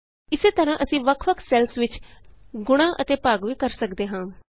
ਇਸੇ ਤਰਹਾਂ ਅਸੀਂ ਵੱਖ ਵੱਖ ਸੈੱਲਸ ਵਿਚ ਭਾਗ ਅਤੇ ਗੁਣਾ ਵੀ ਕਰ ਸਕਦੇ ਹਾਂ